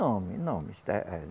Nome, nome